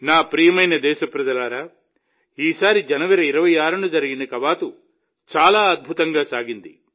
నా ప్రియమైన దేశప్రజలారా ఈసారి జనవరి 26న జరిగిన కవాతు చాలా అద్భుతంగా సాగింది